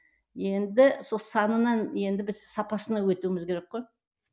енді сол санынан енді біз сапасына өтуіміз керек қой